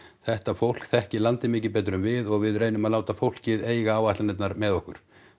þetta fólk þekkir landið miklu betur en við og við reynum að láta fólkið eiga áætlanirnar með okkur